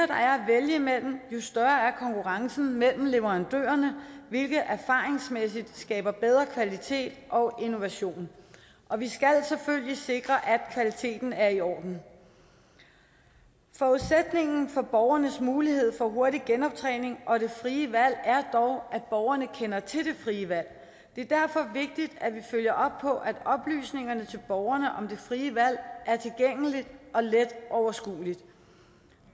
der er at vælge imellem jo større er konkurrencen mellem leverandørerne hvilket erfaringsmæssigt skaber bedre kvalitet og innovation og vi skal selvfølgelig sikre at kvaliteten er i orden forudsætningen for borgernes mulighed for hurtig genoptræning og det frie valg er dog at borgerne kender til det frie valg det er derfor vigtigt at vi følger op på at oplysningerne til borgerne om det frie valg er tilgængelige og let overskuelige